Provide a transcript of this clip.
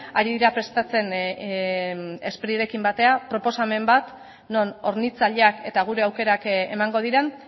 ari dira prestatzen sprirekin batera proposamen bat non hornitzaileak eta gure aukerak emango diren